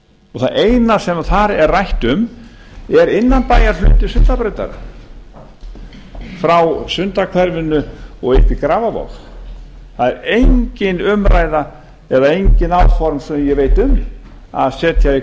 og það eina sem þar er rætt um er innanbæjarhluti sundabrautar frá sundahverfinu og upp í grafarvog það er engin umræða eða engin áform sem ég veit um að setja í